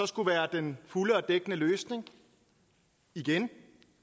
skulle være den fulde og dækkende løsning igen